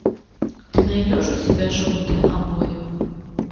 ты найдешь у себя желтые обои